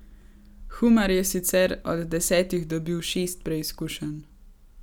Humar je sicer od desetih dobil šest preizkušenj.